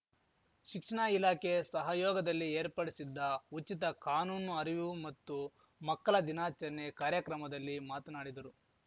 ಶಿಕ್ಷಣ ಇಲಾಖೆ ಸಹಯೋಗದಲ್ಲಿ ಏರ್ಪಡಿಸಿದ್ದ ಉಚಿತ ಕಾನೂನು ಅರಿವು ಮತ್ತು ಮಕ್ಕಲ ದಿನಾಚರಣೆ ಕಾರ್ಯಕ್ರಮದಲ್ಲಿ ಮಾತನಾಡಿದರು